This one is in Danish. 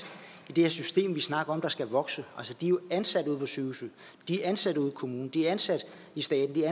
i det her system som vi snakker om skal vokse altså de er jo ansat ude på sygehusene de er ansat ude i kommunerne de er ansat i staten det er